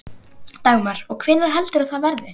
Dagmar: Og hvenær heldurðu að það verði?